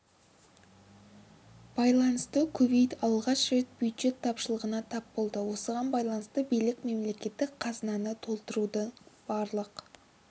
байланысты кувейт алғаш рет бюджет тапшылығына тап болды осыған байланысты билік мемлекеттік қазынаны толтырудың барлық